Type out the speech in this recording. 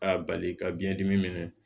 A y'a bali ka biɲɛdimi minɛ